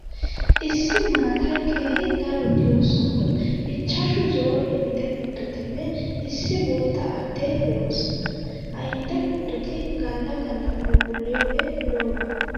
Issi maatay keehi daro diyo sohun ichchashu zo'o indde kuttotinne issi bootta addee de'oosona. Ha indde kuttoti galla galla phuuphulliyoogee lo'oba.